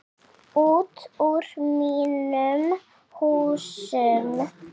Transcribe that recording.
Út úr mínum húsum!